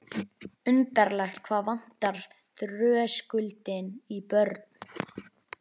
Undarlegt hvað vantar þröskuldinn í börn.